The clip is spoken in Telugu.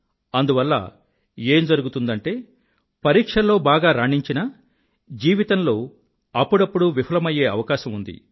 అందువల్ల ఏం జరుగుతుందంటే పరీక్షల్లో బాగా రాణించినా జీవితంలో అప్పుడప్పుడు విఫలమయ్యే అవకాశం ఉంది